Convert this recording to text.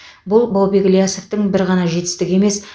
бұл баубек ілиясовтың бір ғана жетістігі емес